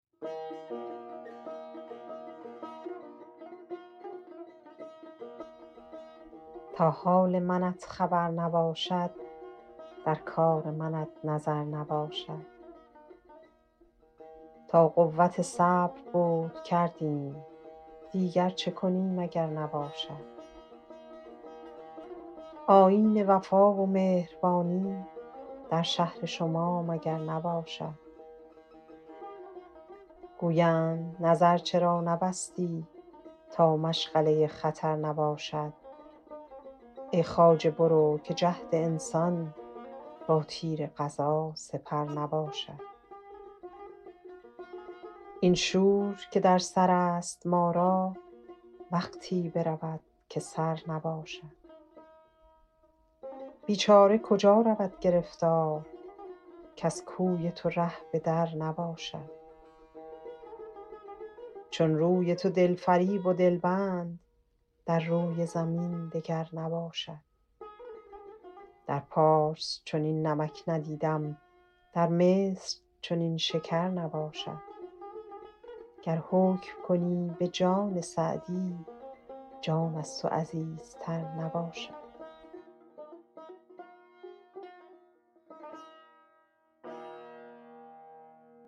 تا حال منت خبر نباشد در کار منت نظر نباشد تا قوت صبر بود کردیم دیگر چه کنیم اگر نباشد آیین وفا و مهربانی در شهر شما مگر نباشد گویند نظر چرا نبستی تا مشغله و خطر نباشد ای خواجه برو که جهد انسان با تیر قضا سپر نباشد این شور که در سر است ما را وقتی برود که سر نباشد بیچاره کجا رود گرفتار کز کوی تو ره به در نباشد چون روی تو دل فریب و دل بند در روی زمین دگر نباشد در پارس چنین نمک ندیدم در مصر چنین شکر نباشد گر حکم کنی به جان سعدی جان از تو عزیزتر نباشد